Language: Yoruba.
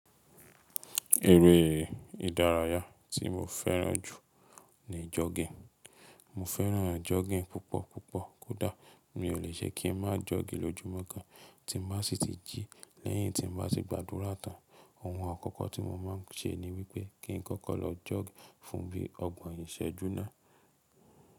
Ẹ̀re ìdárayá tí mo fẹ́ràn jù ni jọ̀ggíng. Mo fẹ́ràn jọ̀ggíng púpọ̀ púpọ̀ kódà mi ò le ṣe kí n má jọ̀gí lójúmọ́ kan tí n bá sì tí jí lẹ́yìn tí n bá ti gbàdúrà tán. Òhun àkọ́kọ́ tí mo máa n ṣe ni wípé kí n kọ́kọ́ lọ jọ́gí fún bí i ọgbọ̀n ìṣẹ́jú náà.